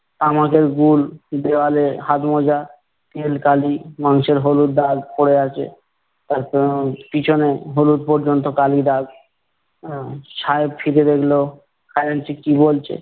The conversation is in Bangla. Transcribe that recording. আমাদের গুল দেওয়ালে হাতমোজা তেলকালি মাংসের হলুদ দাগ পরে আছে, তারপর পিছনে হলুদ পর্যন্ত কালি দাগ। আহ সাহেব ফিরে দেখলো, খাজাঞ্চি কি বলচে!